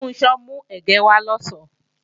Funṣọ́ mú ẹ̀gẹ́ wá lọ̀sán